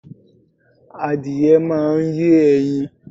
Adìyẹ máa ń yé ẹyin.